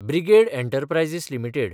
brigade Enterprises limited